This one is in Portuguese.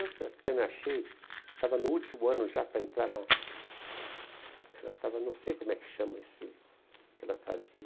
Eu até até me achei... Ela estava no último ano já para entrar na... Ela estava... Não sei como é que chama esse... O que ela fazia.